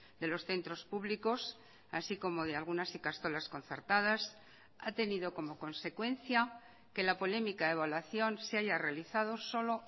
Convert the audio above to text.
de los centros públicos así como de algunas ikastolas concertadas ha tenido como consecuencia que la polémica evaluación se haya realizado solo